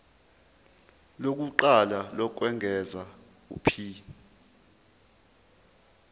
lokuqala lokwengeza p